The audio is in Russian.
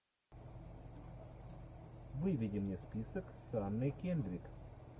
выведи мне список с анной кендрик